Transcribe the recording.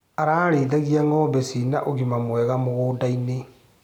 Ararĩithagia ngombe cina ũgima mwega mũgũndainĩ.